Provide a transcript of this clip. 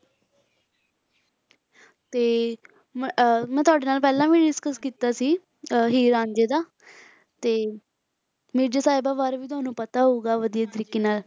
ਤੇ ਮ~ ਅਹ ਮੈਂ ਤੁਹਾਡੇ ਨਾਲ ਪਹਿਲਾਂ ਵੀ discuss ਕੀਤਾ ਸੀ ਅਹ ਹੀਰ ਰਾਂਝੇ ਦਾ ਤੇ ਮਿਰਜ਼ਾ ਸਾਹਿਬਾਂ ਬਾਰੇ ਵੀ ਤੁਹਨੂੰ ਪਤਾ ਹੋਊਗਾ ਵਧੀਆ ਤਰੀਕੇ ਨਾਲ।